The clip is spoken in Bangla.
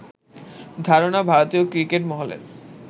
ধারণা ভারতীয় ক্রিকেট মহলের